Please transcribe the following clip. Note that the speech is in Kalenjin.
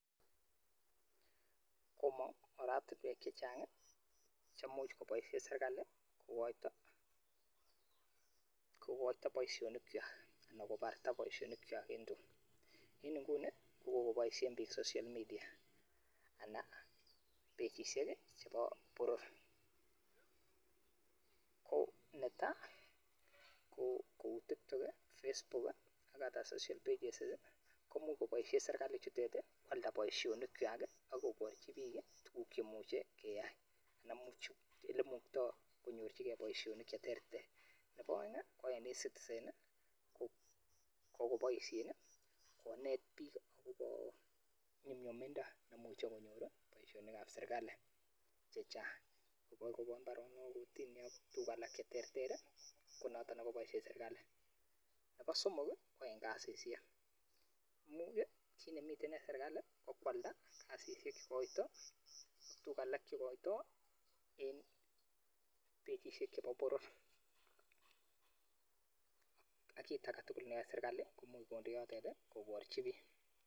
komong ortinwek chachang cheimuch koboisie serikali kokoito anan kobarta boisionik kwak en nguni kokokoboisie bik social media anan pagisiek chebo boror kou neta kou tiktok kou facebook komuch koboisie serikalit che koalda boisionik kwak akoborchi bik tuguk cheimuchi keyai namuchu oleimuktoi konyorchigei boisionik cheterter nrbo aeng ko eng e citizen kokoboisien konet bik akobo nyumnyumindo komuchi konyor boisionikab serikali chechang chebokobo chu alak cheterter konoto nekaboisie serikali nebo somok ko eng kasisiek imuch chito nemi ine serikali koalda kasisiek kokoito tuguk alak cheikoitoi en pagisiek chebo boror ak kit aketugul nemoche koai serikali kondoi yotok koborchi biik